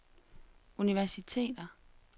universiteter